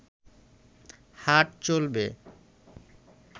হাট চলবে